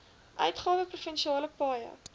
uitgawe provinsiale paaie